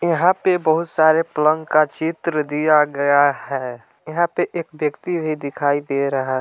यहां पे बहुत सारे पलंग का चित्र दिया गया है यहां पे एक व्यक्ति भी दिखाई दे रहा--